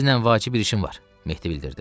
Sizinlə vacib bir işim var, Mehdi bildirdi.